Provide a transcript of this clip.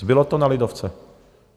Zbylo to na lidovce.